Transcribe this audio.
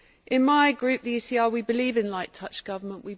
In my group, the ECR, we believe in light touch government.